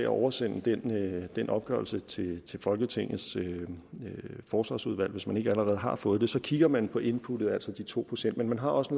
oversende den den opgørelse til til folketingets forsvarsudvalg hvis man ikke allerede har fået den så kigger man på inputtet altså de to procent men man har også